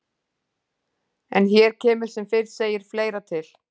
En hér kemur sem fyrr segir fleira til.